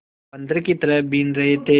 बंदर की तरह बीन रहे थे